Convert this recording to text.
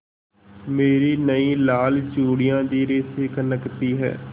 मेरी नयी लाल चूड़ियाँ धीरे से खनकती हैं